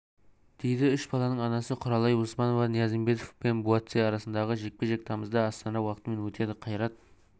дейді үш баланың анасы құралай оспанова ниязымбетов пен буатси арасындағы жекпе-жек тамызда астана уақытымен өтеді қайрат